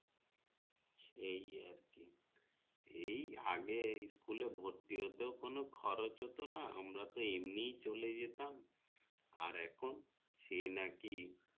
সেই আর কি এই আগে এই school ভর্তি হতে কোনো খরচ হতো না আমরা তো এমনিতেও চলে যেতাম আর এখন সে নাকি